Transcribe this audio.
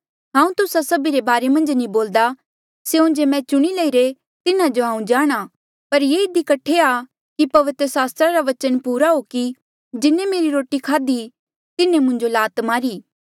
हांऊँ तुस्सा सभी रे बारे मन्झ नी बोल्दा स्यों जे मैं चुणी लईरे तिन्हा जो हांऊँ जाणहां पर ये इधी कठे आ कि पवित्र सास्त्रा रा बचन पूरा हो कि जिन्हें मेरी रोटी खाद्ही तिन्हें मुंजो लात मारी